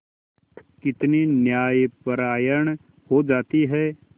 कितनी न्यायपरायण हो जाती है